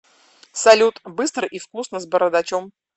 салют быстро и вкусно с бородачом